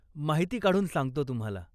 माहिती काढून सांगतो तुम्हाला.